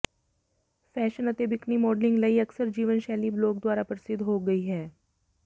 ੇ fashion ਅਤੇ bikini modelling ਲਈ ਅਕਸਰ ਜੀਵਨ ਸ਼ੈਲੀ ਬਲੌਗ ਦੁਆਰਾ ਪ੍ਰਸਿੱਧ ਹੋ ਗਈ ਹੈ